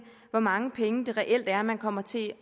hvor mange penge det reelt er man kommer til